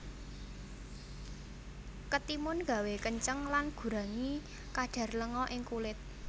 Ketimun gawé kenceng lan gurangi kadar lenga ing kulit